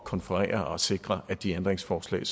konferere og sikre at de ændringsforslag